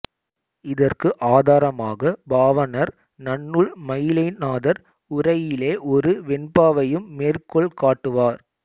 இதற்கு ஆதாரமாக பாவாணர் நன்னூல் மயிலைநாதர் உரையிலே ஒரு வெண்பாவையும் மேற்கோள் காட்டுவார்